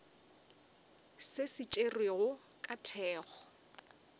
se se tšerwego ka thekgo